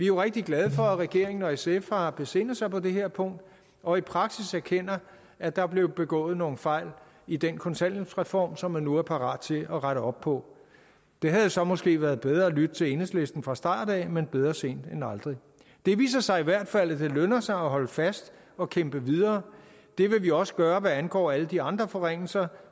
jo rigtig glade for at regeringen og sf har besindet sig på det her punkt og i praksis erkender at der er blevet begået nogle fejl i den kontanthjælpsreform som man nu er parat til at rette op på det havde så måske været bedre at lytte til enhedslisten fra starten men bedre sent end aldrig det viser sig i hvert fald at det lønner sig at holde fast og kæmpe videre det vil vi også gøre hvad angår alle de andre forringelser